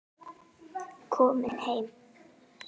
Komin heim?